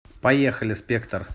поехали спектр